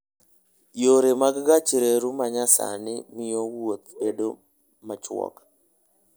Yore mag gach reru ma nyasani miyo wuoth bedo machuok.